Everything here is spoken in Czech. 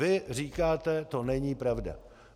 Vy říkáte to není pravda.